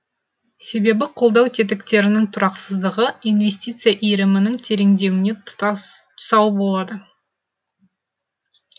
себебі қолдау тетіктерінің тұрақсыздығы инвестиция иірімінің тереңдеуіне тұсау болады